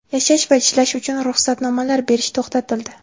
yashash va ishlash uchun ruxsatnomalar berish to‘xtatildi.